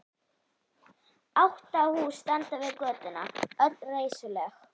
Átta hús standa við götuna, öll reisuleg.